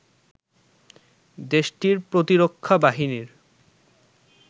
দেশটির প্রতিরক্ষা বাহিনীর